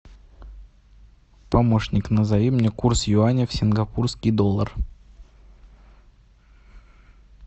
помощник назови мне курс юаня в сингапурский доллар